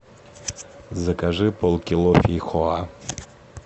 закажи полкило фейхоа